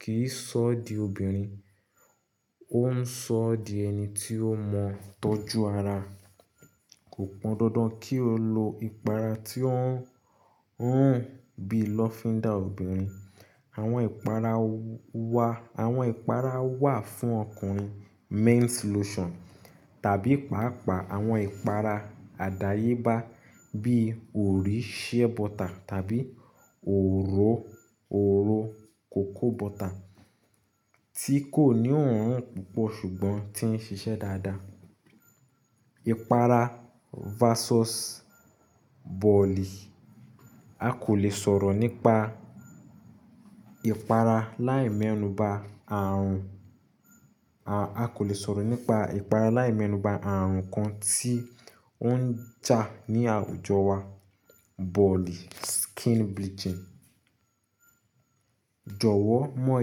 kì í sọ di obìnrin, ó ń sọ di ẹni tí ó mọ̀ tọ́jú ara. Kò pọn dandan kí o lo ìpara tí ó ń, ń rùn bí lavender obìnrin. Àwọn ìpara wa, àwọn ìpara wà fún ọkùnrin, men's lotion tàbí pàápàá àwọn ìpara àdáyébá bí órí sheerbutter tàbí orò, orò kòkó butter tí kò ní òórùn púpọ̀ ṣùgbọ́n tí ń ṣiṣẹ́ dáadáa. Ìpara versus bọ̀lì. A kò lè sọ̀rọ̀ nípa ìpara láì mẹ́nu ba àrùn, a, a kò lè sọ̀rọ̀ nípa ìpara láì mẹ́nu ba àrùn kan tí ó ń jà ní àwùjọ wa, bọ̀lì, skin bleaching. Jọ̀wọ́ mọ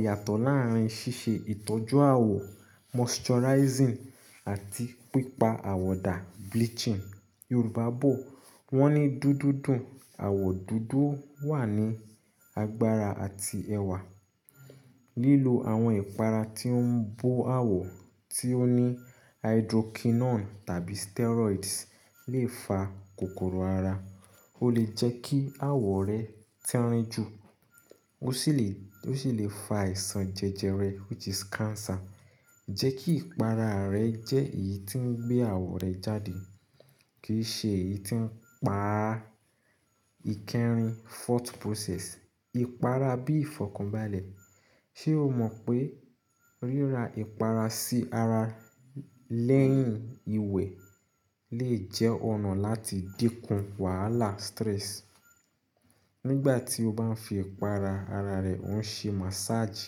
ìyàtọ̀ láàárín ṣíṣe ìtọ́jú àwọ̀, moisturizing àti pípa àwọ̀ dà, bleaching. Yorùbá bọ wọn ní dúdú dùn, àwọ̀ dúdú wà ní agbára àti ẹwà. Lílo àwọn ìpara tí ó ń bo àwọ̀ tí ó ní hydroquinone tàbí steroids lè fa kòkòrò ara. Ó lè jẹ́ kí àwọ̀ rẹ tín rìn ju, ó sì lè, ó sì lè fa àìsàn jẹjẹrẹ which is cancer. Jẹ́ kí ìpara rẹ jẹ́ èyí tí ń gbé àwọ̀ rẹ jáde, kì í ṣe èyí tí ń pa ìkẹrin, thought process. Ìpara bí ìfọ̀kànbalẹ̀. Ṣé o mọ̀ pé ríra ìpara sí ara lẹ́yìn ìwẹ̀ lè jẹ́ ọ̀nà láti dínkù wàhálà, stress? Nígbà tí o bá ń fi ìpara ara rẹ, ò ń ṣe massage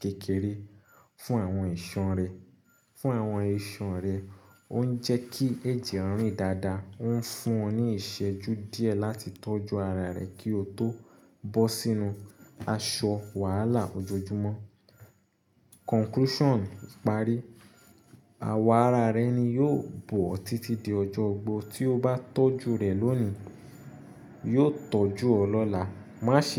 kékeré fún àwọn ìṣan rẹ, fún àwọn ìṣan rẹ, ó ń jẹ́ kí ẹjẹ rìn dáadáa, ó ń fún ọ ní ìṣẹ́jú díẹ̀ láti tọ́jú ara rẹ kí o tó bọ́ sínú aṣọ wàhálà ojoojúmọ́. Conclusion. Parí. Àwọ̀ ara rẹ ni yóò bò ọ títí di ọjọ́ ogbó. Tí o bá tọ́jú rẹ̀ lónìí, yóò tọ́jú ọ lọ́la. Má ṣe.